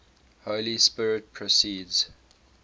holy spirit proceeds